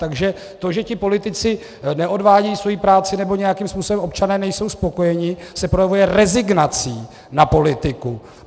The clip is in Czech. Takže to, že ti politici neodvádějí svoji práci nebo nějakým způsobem občané nejsou spokojeni, se projevuje rezignací na politiku.